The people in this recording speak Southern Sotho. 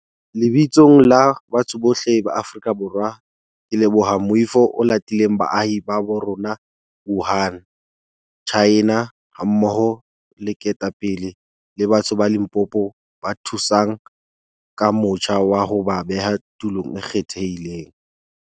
Lebitsong la batho bohle ba Aforika Borwa ke leboha moifo o latileng baahi ba bo rona Wuhan, Tjhaena, hammoho le ketapele le batho ba Limpopo ba thusang ka motjha wa ho ba beha tulong e kgethehileng.